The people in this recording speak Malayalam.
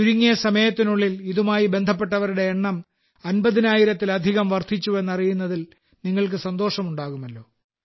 ചുരുങ്ങിയ സമയത്തിനുള്ളിൽ ഇതുമായി ബന്ധപ്പെട്ടവരുടെ എണ്ണം 50000 ത്തിലധികം വർദ്ധിച്ചുവെന്നറിയുന്നതിൽ നിങ്ങൾക്ക് സന്തോഷമുണ്ടാകുമല്ലോ